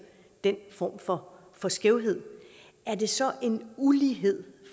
en form for for skævhed er det så en ulighed